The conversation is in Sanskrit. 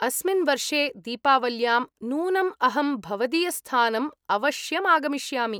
अस्मिन् वर्षे दीपावल्यां नूनम् अहं भवदीयस्थानम् अवश्यम् आगमिष्यामि।